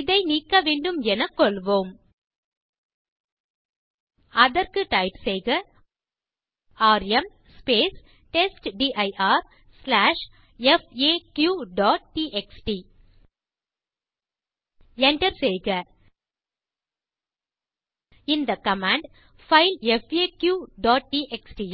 இதை நீக்க வேண்டும் எனக் கொள்வோம் அதற்கு டைப் செய்க ராம் testdirfaqடிஎக்ஸ்டி enter செய்க இந்த கமாண்ட் பைல் faqடிஎக்ஸ்டி